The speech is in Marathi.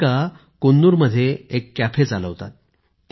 राधिका कून्नूरमध्ये एक कॅफे चालवतात